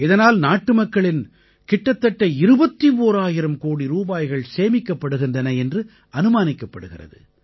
இதனால் நாட்டுமக்களின் கிட்டத்தட்ட 21000 கோடி ரூபாய்கள் சேமிக்கப்படுகின்றன என்று அனுமானிக்கப் படுகிறது